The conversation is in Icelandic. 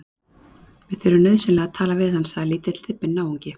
Við þurfum nauðsynlega að tala við hann sagði lítill, þybbinn náungi.